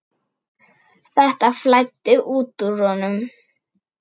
Þetta flæddi út úr honum.